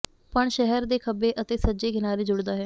ਪਣ ਸ਼ਹਿਰ ਦੇ ਖੱਬੇ ਅਤੇ ਸੱਜੇ ਕਿਨਾਰੇ ਜੁੜਦਾ ਹੈ